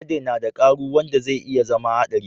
Alade na da karu wanda zai iya zama haɗari